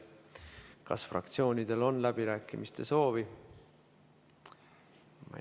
Kas fraktsioonidel on läbirääkimiste soovi?